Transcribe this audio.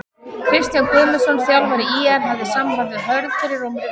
Kristján Guðmundsson þjálfari ÍR hafði samband við Hörð fyrir rúmri viku.